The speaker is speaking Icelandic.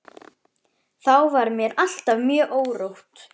Þá var mér alltaf mjög órótt.